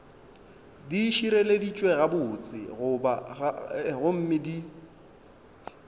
di šireleditšwe gabotse gomme di